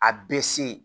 A bɛ se